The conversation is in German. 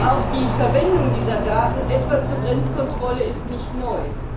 Auch die Verwendung dieser Daten etwa zur Grenzkontrolle ist nicht neu.